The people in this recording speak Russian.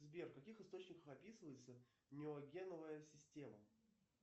сбер в каких источниках описывается неогеновая система